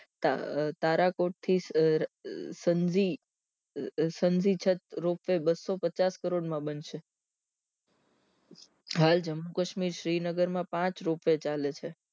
તારા તરખોટ થી સન સંજરી સંધી છત ropeway બસો પચાસ કરોડ માં બનશે હાલ જમ્મુ કાશ્મીર શ્રીનગર માં પાંચ ropeway ચાલે છે